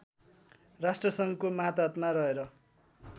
राष्ट्रसङ्घको मातहतमा रहेर